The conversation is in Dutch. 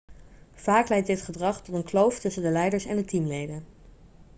vaak leidt dit gedrag tot een kloof tussen de leiders en de teamleden